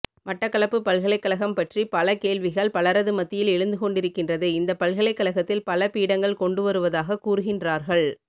மட்டக்களப்பு பல்கலைக்கழகம் பற்றி பல கேள்விகள் பலரது மத்தியில் எழுந்துகொண்டிருக்கின்றது இந்த பல்கலைகழகத்தில் பல பீடங்கள் கொண்டுவருவதாக கூறுகின்றார்கள்